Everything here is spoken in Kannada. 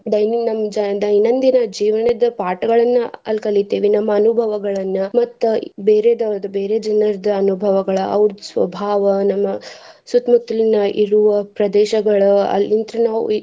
Daily ನಮ್ಮ್ ಜಿ~ ದೈನಂದಿನ ಜೀವನದ ಪಾಠಗಳನ್ನ ಅಲ್ಲಿ ಕಲಿತಿವಿ. ನಮ್ಮ ಅನುಭವಗಳನ್ನ ಮತ್ತ ಬೇರೆದವರ ಬೇರೆ ಜನರ್ದ ಅನುಭವಗಳ ಅವ್ರದ ಸ್ವಭಾವ ನಮ್ಮ ಸುತ್ತ ಮುತ್ತಲಿನ ಇರುವ ಪ್ರದೇಶಗಳ ಅಲ್ಲಿಂತ್ರ ನಾವ್.